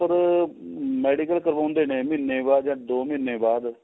ਆ medical ਕਰਵਾਉਂਦੇ ਨੇ ਮਹੀਨੇ ਬਾਅਦ ਜਾ ਦੋ ਮਹੀਨੇ ਬਾਅਦ